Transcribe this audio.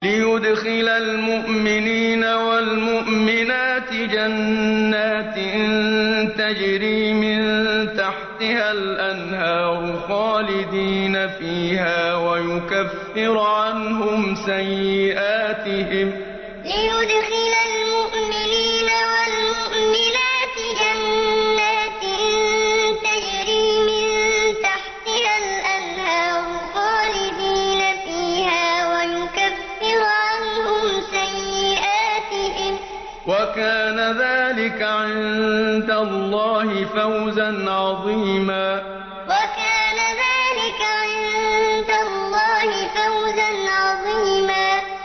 لِّيُدْخِلَ الْمُؤْمِنِينَ وَالْمُؤْمِنَاتِ جَنَّاتٍ تَجْرِي مِن تَحْتِهَا الْأَنْهَارُ خَالِدِينَ فِيهَا وَيُكَفِّرَ عَنْهُمْ سَيِّئَاتِهِمْ ۚ وَكَانَ ذَٰلِكَ عِندَ اللَّهِ فَوْزًا عَظِيمًا لِّيُدْخِلَ الْمُؤْمِنِينَ وَالْمُؤْمِنَاتِ جَنَّاتٍ تَجْرِي مِن تَحْتِهَا الْأَنْهَارُ خَالِدِينَ فِيهَا وَيُكَفِّرَ عَنْهُمْ سَيِّئَاتِهِمْ ۚ وَكَانَ ذَٰلِكَ عِندَ اللَّهِ فَوْزًا عَظِيمًا